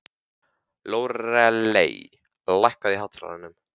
Lóreley, lækkaðu í hátalaranum.